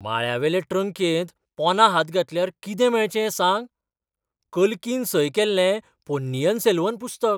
माळ्यावेले ट्रंकेंत पोंदां हात घातल्यार कितें मेळचें, सांग? कल्कीन सय केल्लें पोन्नियीन सेल्वन पुस्तक!